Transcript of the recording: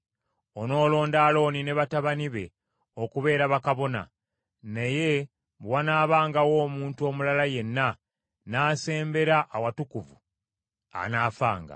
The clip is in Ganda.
Onoolonda Alooni ne batabani be okubeera bakabona; naye bwe wanaabangawo omuntu omulala yenna n’asembera awatukuvu, anaafanga.”